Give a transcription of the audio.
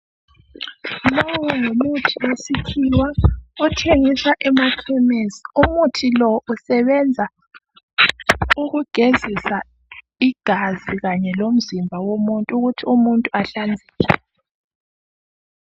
Lowu ngumuthi wesikhiwa othengiswa emafamasi. Umuthi lo usebenza ukugezisa igazi kanye lomzimba womuntu ukuthi umuntu ahlanzeke.